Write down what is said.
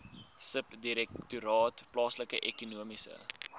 subdirektoraat plaaslike ekonomiese